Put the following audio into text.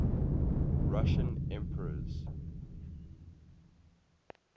russian emperors